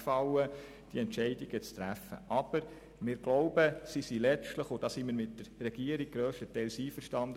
Aber sie sind letztlich vertretbar, und hier sind wir mit der Regierung grösstenteils einverstanden.